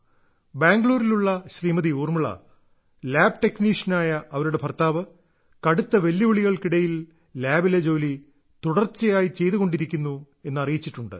ബാംഗ്ലൂരിലുള്ള Shrimati Urmila lab ടെക്നീഷ്യനായ അവരുടെ ഭർത്താവ് കടുത്ത വെല്ലുവിളികൾക്കിടയിൽ ലാബിലെ ജോലി തുടർച്ചയായി ചെയ്തുകൊണ്ടിരിക്കുന്നു എന്നറിയിച്ചിട്ടുണ്ട്